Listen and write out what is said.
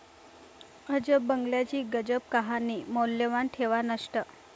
अजब बंगल्याची गजब कहाणी, मौल्यवान ठेवा नष्ट!